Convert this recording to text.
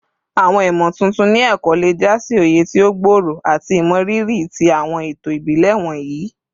Awọn imotuntun ni ẹkọ le ja si oye ti o gbooro ati imọriri ti awọn eto ibile wọnyi